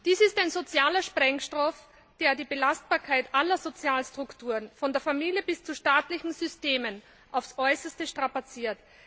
Dies ist ein sozialer Sprengstoff, der die Belastbarkeit aller Sozialstrukturen von der Familie bis zu staatlichen Systemen auf das Äußerste strapaziert.